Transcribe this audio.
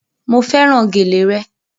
Mo fẹ́ràn gèlè re